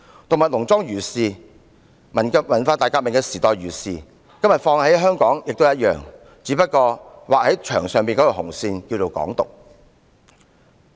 《動物農莊》如是，文化大革命年代如是，今天放諸香港一樣適用，只不過這道劃在牆上的紅線，名叫"港獨"而已。